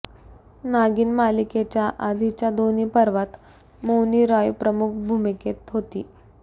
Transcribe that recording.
नागिन मालिकेच्या आधीच्या दोन्ही पर्वात मौनी राय प्रमुख भूमुकेत होती